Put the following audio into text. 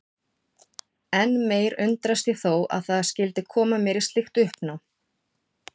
Enn meir undrast ég þó að það skyldi koma mér í slíkt uppnám.